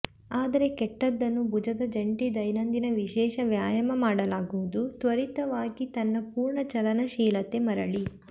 ಆದರೆ ಕೆಟ್ಟದ್ದನ್ನು ಭುಜದ ಜಂಟಿ ದೈನಂದಿನ ವಿಶೇಷ ವ್ಯಾಯಾಮ ಮಾಡಲಾಗುವುದು ತ್ವರಿತವಾಗಿ ತನ್ನ ಪೂರ್ಣ ಚಲನಶೀಲತೆ ಮರಳಿ